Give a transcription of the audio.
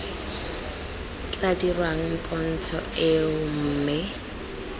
tla dirwang pontsho eo mme